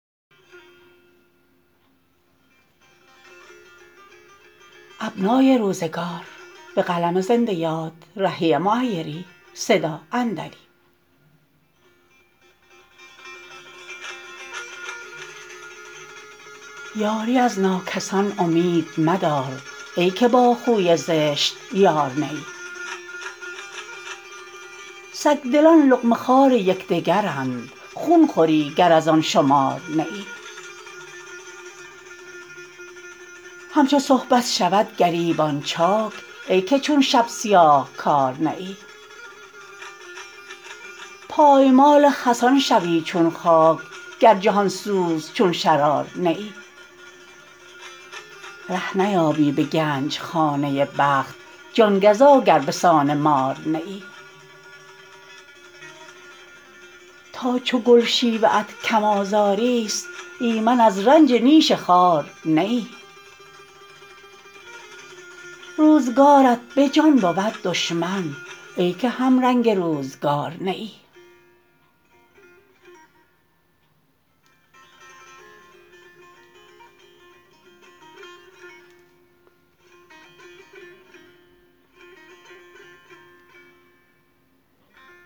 یاری از ناکسان امید مدار ای که با خوی زشت یار نه ای سگ دلان لقمه خوار یکدیگرند خون خوری گر از آن شمار نه ای همچو صبحت شود گریبان چاک ای که چون شب سیاهکار نه ای پایمال خسان شوی چون خاک گر جهان سوز چون شرار نه ای ره نیابی به گنج خانه بخت جان گزا گر به سان مار نه ای تا چو گل شیوه ات کم آزاری است ایمن از رنج نیش خار نه ای روزگارت به جان بود دشمن ای که هم رنگ روزگار نه ای